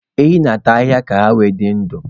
Ehi na-ata ahịhịa ka ọ dị ndụ.